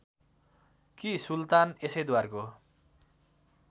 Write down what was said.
कि सुल्तान यसैद्वारको